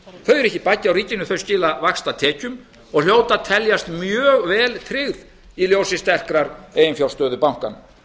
þau eru ekki baggi á ríkinu þau skila vaxtatekjum og hljóta að teljast mjög vel tryggð í ljósi sterkrar eiginfjárstöðu bankanna